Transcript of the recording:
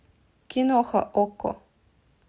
киноха окко